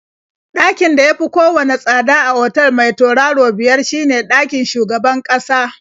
Ɗakin da ya fi kowanne tsada a otal mai turaro biyar shine ɗakin shugaban ƙasa.